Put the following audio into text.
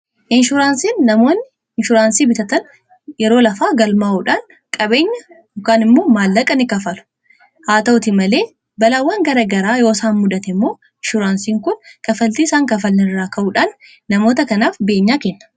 inshuraansiin namoonni inshuraansii bitatan yeroo lafaa galmaa'uudhaan qabeenya yookaan immoo maallaqa ni kafalu haa ta'uti malee balaawwan garagaraa yoosaan mudate immoo inshuraansiin kun kafaltii isaan kanfalan irraa ka'uudhaan namoota kanaaf beenyaa kenna.